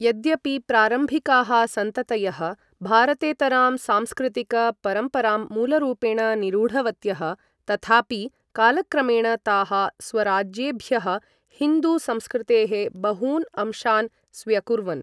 यद्यपि प्रारम्भिकाः सन्ततयः भारतेतरां सांस्कृतिक परम्पराम् मूलरूपेण निरूढवत्यः तथापि कालक्रमेण ताः स्वराज्येभ्यः हिन्दू संस्कृतेः बहून् अंशान् स्व्यकुर्वन्।